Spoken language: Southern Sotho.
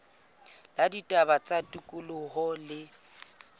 la ditaba tsa tikoloho le